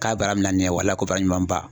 K'a baara min na nin ye wala ko baara ɲuman ba.